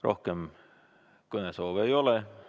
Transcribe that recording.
Rohkem kõnesoove ei ole.